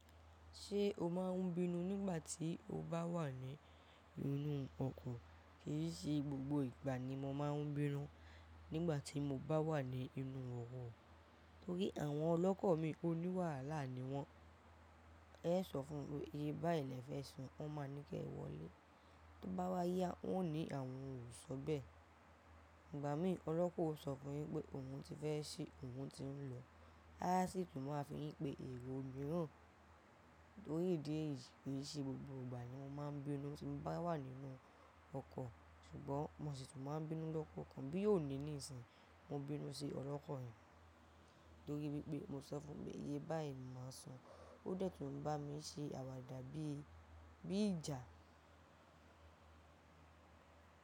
Ṣé o máa ń bínú nígbà tí o bá wà ní inú ọkọ̀? Kì í ṣe gbogbo ìgbà ni mo máa ń bínú nígbà tí mo bá wà ní inú oko. Torí àwọn ọlọ́kọ mi oníwàhálà ni wọ́n. Ẹ é sọ fún un pé iye báyì lẹ fẹ́ san, wọ́n máa ní kẹ́ẹ wọlé. Tó bá wá yá, wọn ó ní àwọn ò sọ bẹ́ẹ̀. Ìgbà mí, ọlọ́kọ o sọ fún yín pé òun ti fẹ́ sí, òun ti ń lọ. A sì tún máa fi yín pé èrò mìíràn. Torí ìdí èyí, kii ṣe gbogbo ìgbà ni mo máa ń bínú tí mo bá wà nínú ọkọ̀. Ṣùgbọ́n mo sì tún máa ń bínú lọ́pọ̀ ọ̀kan bí yóò ní ní ìsìn. Mo bínú sí ọlọ́kọ̀ mi torí wípé mo sọ fún pé iye báyì ni máa san. Ó dẹ̀ tún ń bá mi ṣe àwàdà bíi, bíi ìjà.